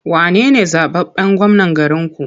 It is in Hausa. Wane ne zaɓaɓɓen gwamnan garinku?